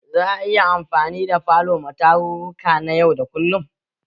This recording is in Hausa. Za a iya anfani da falo ma tarurruka na yau da kullum?